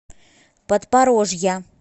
подпорожья